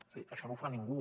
és a dir això no ho fa ningú